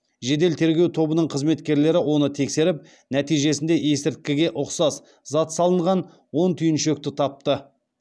жедел тергеу тобының қызметкерлері оны тексеріп нәтижесінде есірткіге ұқсас зат салынған он түйіншекті тапты